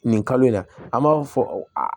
Nin kalo in na an b'a fɔ a